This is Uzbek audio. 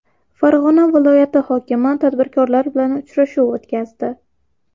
Farg‘ona viloyati hokimi tadbirkorlar bilan uchrashuv o‘tkazdi.